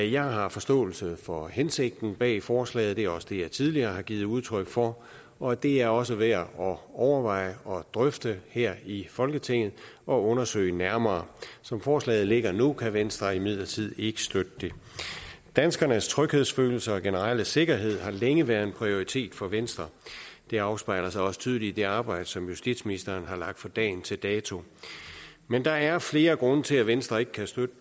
jeg har forståelse for hensigten bag forslaget det er også det jeg tidligere har givet udtryk for og det er også værd at overveje og drøfte her i folketinget og undersøge nærmere som forslaget ligger nu kan venstre imidlertid ikke støtte det danskernes tryghedsfølelse og generelle sikkerhed har længe været en prioritet for venstre det afspejler sig også tydeligt i det arbejde som justitsministeren har lagt for dagen til dato men der er flere grunde til at venstre ikke kan støtte